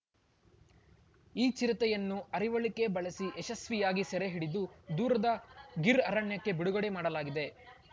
ಈ ಚಿರತೆಯನ್ನು ಅರಿವಳಿಕೆ ಬಳಸಿ ಯಶಸ್ವಿಯಾಗಿ ಸೆರೆ ಹಿಡಿದು ದೂರದ ಗೀರ್‌ ಅರಣ್ಯಕ್ಕೆ ಬಿಡುಗಡೆ ಮಾಡಲಾಗಿದೆ